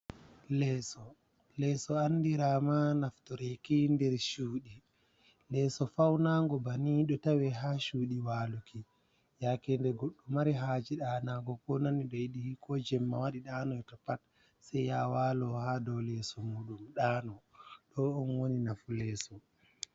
Leeso andirama naftoreki nder cuɗi, leso faunango banni ɗo tawe ha cuɗi waluki, yake de goɗɗo mari haji ɗanugo ko nani ɗoiɗi ko jemma waɗi ɗanu pat sai yaha walo ha dou leso muɗum ɗano ɗo ɗun woni nafu leso.